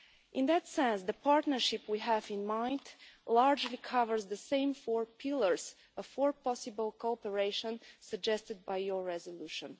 In that sense, the partnership we have in mind largely covers the same four pillars of possible cooperation suggested by your resolution.